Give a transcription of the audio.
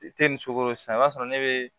ni sukoro sisan i b'a sɔrɔ ne bɛ